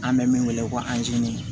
An bɛ min wele ko